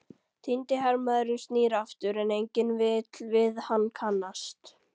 Týndi hermaðurinn snýr aftur, en enginn vill við hann kannast.